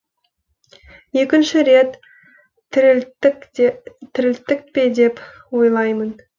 екінші рет тірілттік пе деп ойлаймын